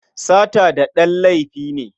Sata daɗen laifi ne.